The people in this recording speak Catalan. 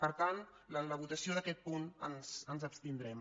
per tant en la votació d’aquest punt ens abstindrem